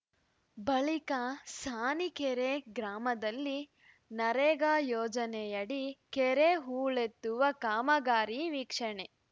ಬಳಿಕ ಸಾಣಿಕೆರೆ ಗ್ರಾಮದಲ್ಲಿ ನರೇಗಾ ಯೋಜನೆಯಡಿ ಕೆರೆ ಹೂಳೆತ್ತುವ ಕಾಮಗಾರಿ ವೀಕ್ಷಣೆ